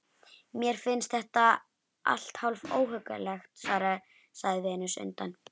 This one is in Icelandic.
Mér finnst þetta allt hálf óhuggulegt, sagði Venus undan